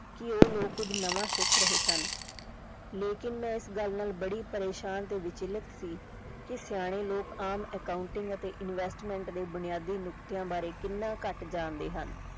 ਕਿ ਉਹ ਲੋਕ ਕੁਝ ਨਵਾਂ ਸਿੱਖ ਰਹੇ ਸਨ ਲੇਕਿਨ ਮੈਂ ਇਸ ਗੱਲ ਨਾਲ ਬੜੀ ਪਰੇਸ਼ਾਨ ਤੇ ਵਿਚਲਿਤ ਸੀ ਕਿ ਸਿਆਣੇ ਲੋਕ ਆਮ accounting ਅਤੇ investment ਦੇ ਬੁਨਿਆਦੀ ਨੁਕਤਿਆਂ ਬਾਰੇ ਕਿੰਨਾ ਘੱਟ ਜਾਣਦੇ ਹਨ।